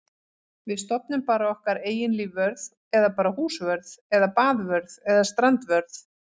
Við stofnum bara okkar eigin lífvörð eða bara húsvörð eða baðvörð eða strandvörð.